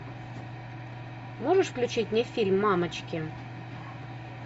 можешь включить мне фильм мамочки